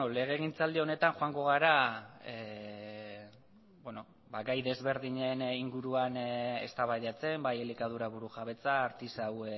legegintzaldi honetan joango gara gai desberdinen inguruan eztabaidatzen bai elikadura burujabetza artisau